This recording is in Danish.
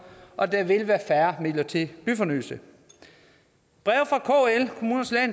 og at der vil være færre midler til byfornyelse breve